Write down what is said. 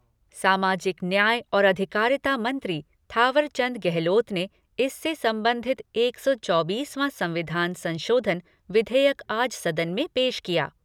सामाजिक न्याय और अधिकारिता मंत्री थावरचंद गहलोत ने इससे संबंधित एक सौ चौबीसवां संविधान संशोधन विधेयक आज सदन में पेश किया।